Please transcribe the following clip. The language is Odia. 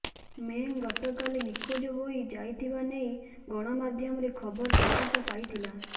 ମେଙ୍ଗ୍ ଗତକାଲି ନିଖୋଜ ହୋଇ ଯାଇଥିବା ନେଇ ଗଣମାଧ୍ୟମରେ ଖବର ପ୍ରକାଶ ପାଇଥିଲା